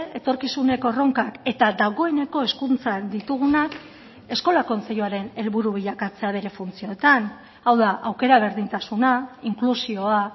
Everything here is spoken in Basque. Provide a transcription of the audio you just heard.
etorkizuneko erronkak eta dagoeneko hezkuntzan ditugunak eskola kontseiluaren helburu bilakatzea bere funtzioetan hau da aukera berdintasuna inklusioa